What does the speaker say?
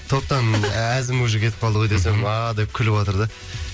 топтан әзім уже кетіп калды ғой десем ааа деп күліватыр да